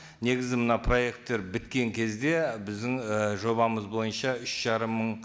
негізі мына проекттер біткен кезде біздің і жобамыз бойынша үш жарым мың